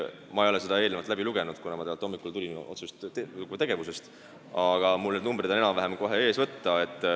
Ma ei ole seda teksti eelnevalt läbi lugenud, kuna ma alles hommikul tulin otsesest tegevusest, aga mul on need numbrid enam-vähem kohe võtta.